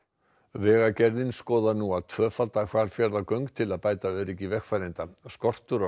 vegagerðin skoðar nú að tvöfalda Hvalfjarðargöng til að bæta öryggi vegfarenda skortur á